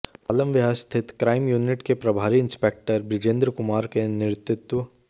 पालम विहार स्थित crime unit के प्रभारी इंस्पेक्टर बिजेंद्र कुमार के नेतृत्व